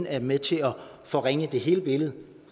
er med til at forringe hele billedet